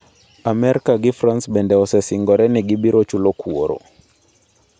Amerka gi France bende osesingore ni gibiro chulo kuoro.